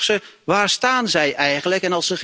Dus ik vraag ze, waar staan zij eigenlijk?